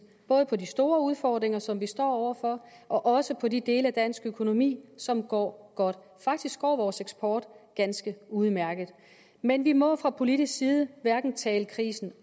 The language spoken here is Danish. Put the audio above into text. både på de store udfordringer som vi står over for og også på de dele af dansk økonomi som går godt faktisk går vores eksport ganske udmærket men vi må fra politisk side hverken tale krisen